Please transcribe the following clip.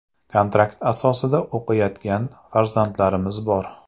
Kontrakt asosida o‘qiyotgan farzandlarimiz bor.